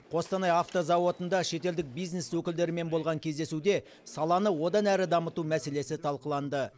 қостанай автозауытында шетелдік бизнес өкілдерімен болған кездесуде саланы одан әрі дамыту мәселесі талқыланды